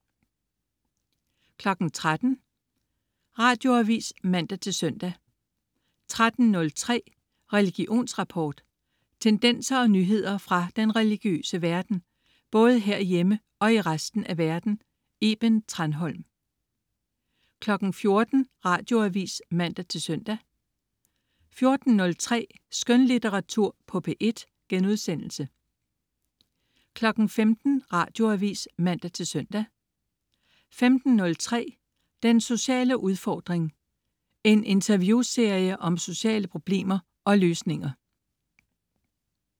13.00 Radioavis (man-søn) 13.03 Religionsrapport. Tendenser og nyheder fra den religiøse verden, både herhjemme og i resten af verden. Iben Thranholm 14.00 Radioavis (man-søn) 14.03 Skønlitteratur på P1* 15.00 Radioavis (man-søn) 15.03 Den sociale udfordring. En interviewserie om sociale problemer og løsninger